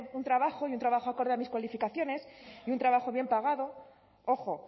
un trabajo y un trabajo acorde a mis cualificaciones y un trabajo bien pagado ojo